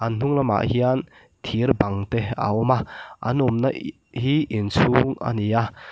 an hnung lamah hian thir bang te a awma an awmna hi inchhung ani a.